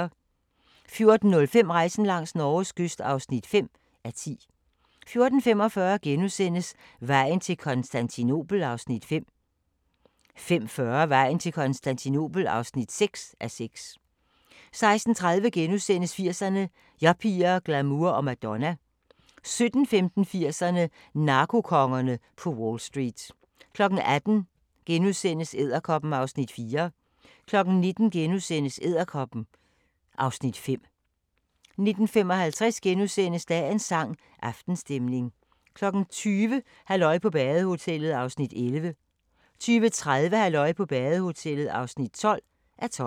14:05: Rejsen langs Norges kyst (5:10) 14:45: Vejen til Konstantinopel (5:6)* 15:40: Vejen til Konstantinopel (6:6) 16:30: 80'erne: Yuppier, glamour og Madonna * 17:15: 80'erne: Narkokongerne på Wall Street 18:00: Edderkoppen (Afs. 4)* 19:00: Edderkoppen (Afs. 5)* 19:55: Dagens sang: Aftenstemning * 20:00: Halløj på badehotellet (11:12) 20:30: Halløj på badehotellet (12:12)